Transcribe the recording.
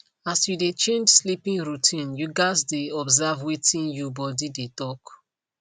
as you dey change sleeping routine you gats dey observe wetin you body dey talk